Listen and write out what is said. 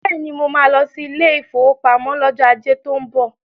Beni, mo máa lọ sí ilé ìfowópamọ́ lọ́jọ́ ajé tó ń bọ̀.